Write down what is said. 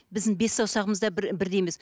біздің бес саусағымыз да бірдей емес